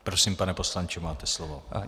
Prosím, pane poslanče, máte slovo.